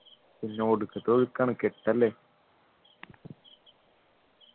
പിന്നെ ഒടുക്കത്തെ ഒഴുക്കാണ് കെട്ടല്ലേ